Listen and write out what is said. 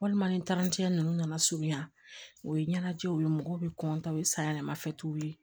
Walima ni ninnu nana surunya o ye ɲɛnajɛw ye mɔgɔw bɛ o ye sanyɛlɛma fɛn t'u ye